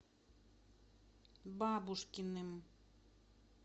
бабушкиным